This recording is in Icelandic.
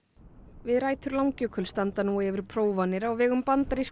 við rætur Langjökuls standa nú yfir prófanir á vegum bandarísku